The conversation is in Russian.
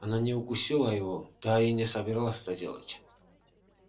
она не укусила его да и не собиралась это делать